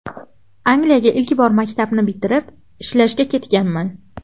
Angliyaga ilk bor maktabni bitirib, ishlashga ketganman.